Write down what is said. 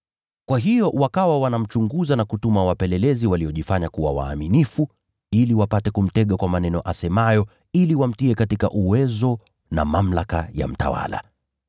Kwa hiyo wakawa wanamchunguza na kutuma wapelelezi waliojifanya kuwa wenye haki ili wapate kumtega kwa maneno asemayo, ili wamtie katika uwezo na mamlaka ya mtawala.